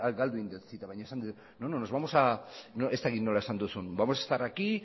galdu egin dut zita baina esan duzu ez dakit nola esan duzun vamos a estar aquí